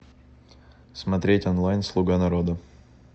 смотреть онлайн слуга народа